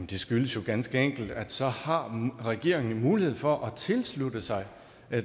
det skyldes ganske enkelt at så har regeringen en mulighed for at tilslutte sig